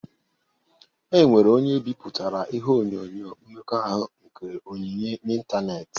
E nwere onye biputere ihe onyonyo mmekọahụ nke Onyinye n'ịntanetị.